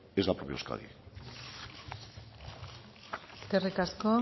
es la propia euskadi eskerrik asko